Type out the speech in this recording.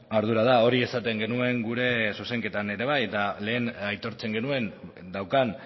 ardura da hori esaten genuen gure zuzenketan ere bai eta lehen aitortzen genuen daukan